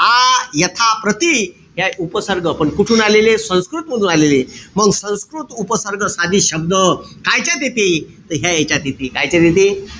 आ, यथा, प्रति हे उपसर्ग. पण कुठून आलेले? संस्कृत मधून आलेले. मंग संस्कृत उपसर्ग साधित शब्द कायच्यात येते. त ह्या यांच्यात येते. कायच्यात येते?